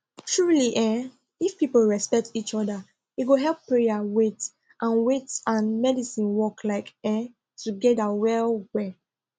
truely eeh if people respect each oda e go help prayer wait and wait and medicine work like eeh togeda well well